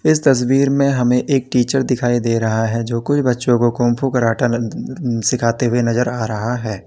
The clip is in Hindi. इस तस्वीर में हमें एक टीचर दिखाई दे रहा है जो कोई बच्चों को कुंग फू कराटे सिखाते हुए नजर आ रहा है।